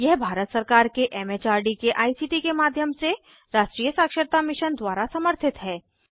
यह भारत सरकार के एम एच आर डी के आई सी टी के माध्यम से राष्ट्रीय साक्षरता मिशन द्वारा समर्थित है